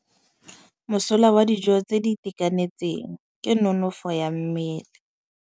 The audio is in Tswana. Mosola wa dijô tse di itekanetseng ke nonôfô ya mmele.